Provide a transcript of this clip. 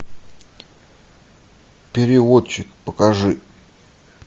переводчик покажи